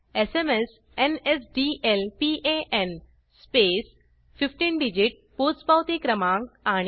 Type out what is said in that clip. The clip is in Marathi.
जीटीएसएमएस nsdlpanltspacegt15 डिजिट पोचपावती क्रमांक